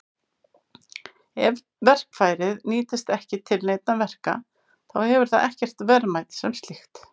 Ef verkfærið nýtist ekki til neinna verka þá hefur það ekkert verðmæti sem slíkt.